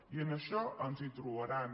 i en això ens hi trobaran